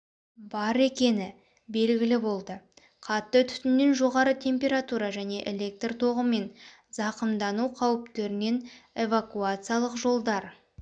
бар екені белгілі болды қатты түтіннен жоғары температура және электр тоғымен зақымдану қауіптарынан эвакуациялық жолдар